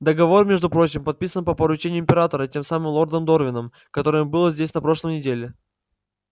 договор между прочим подписан по поручению императора тем самым лордом дорвином который был здесь на прошлой неделе